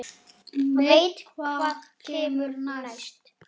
Veit hvað kemur næst.